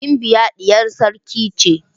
Gimbiya diyar sarki ce.